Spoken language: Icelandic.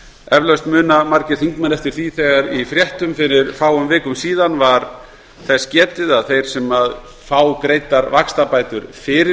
eflaust muna margir þingmenn eftir því úr fréttum fyrir fáum vikum að talað var um að þeir sem fá greiddar vaxtabætur fyrir